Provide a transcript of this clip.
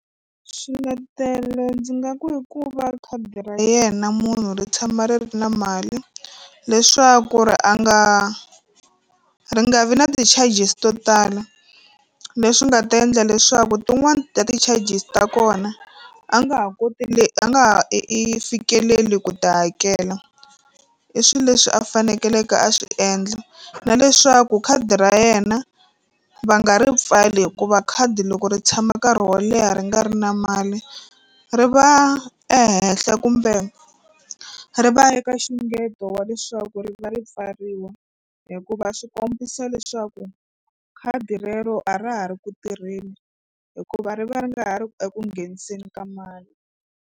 Swiletelo ndzi nga ku i ku va khadi ra yena munhu ri tshama ri ri na mali leswaku ri a nga ri nga vi na ti-charges to tala leswi nga ta endla leswaku tin'wani ta ti-charges ta kona a nga ha koti le a nga ha i i fikeleli ku ti hakela i swilo leswi a faneleke a swi endla na leswaku khadi ra yena va nga ri pfali hikuva khadi loko ri tshama nkarhi wo leha ri nga ri na mali ri va ehenhla kumbe ri va eka nxungeto wa leswaku ri va ri pfariwa hikuva swi kombisa leswaku khadi rero a ra ha ri ku tirheni hikuva ri va ri nga ha ri eku ngheniseni ka mali.